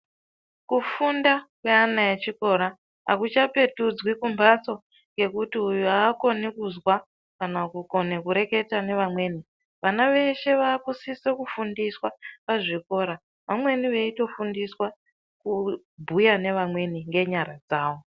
Kufunda neana echikora, akuchapetudzwi kumbatso, ngekuti uyu akoni kuzwa ,kana kukone kureketa nevamweni, vana veshe vakusisa kufundiswa pazvikora, vamweni veyitofundiswa kubhuya nevamweni ngenyara dzavo.